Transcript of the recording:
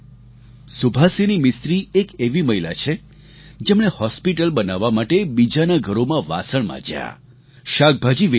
સુભાસિની મિસ્ત્રી એક એવી મહિલા છે જેમણે હોસ્પિટલ બનાવવા માટે બીજાના ઘરોમાં વાસણ માંજ્યા શાકભાજી વેચ્યા